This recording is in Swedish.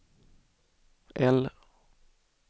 L